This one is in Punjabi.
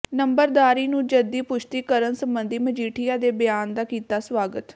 ਨੰਬਰਦਾਰੀ ਨੂੰ ਜੱਦੀ ਪੁਸ਼ਤੀ ਕਰਨ ਸਬੰਧੀ ਮਜੀਠੀਆ ਦੇ ਬਿਆਨ ਦਾ ਕੀਤਾ ਸਵਾਗਤ